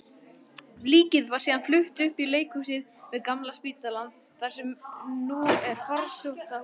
Líkið var síðan flutt upp í líkhúsið við Gamla spítalann, þar sem nú er Farsóttahúsið.